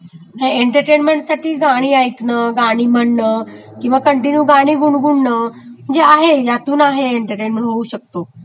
आहे एन्टर्टेमेंन्टसाठी गाणी ऐंकणं, गाणी म्हणणं, किंवा कन्टीन्यू गाणी गुणगुणण म्हणजे आहे ह्यातून आहे एन्टर्टेन होऊ शकतो